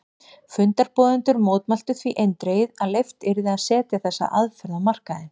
Fundarboðendur mótmæltu því eindregið að leyft yrði að setja þessa aðferð á markaðinn.